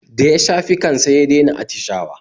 Da ya sha piccan sai ya dai na attishawa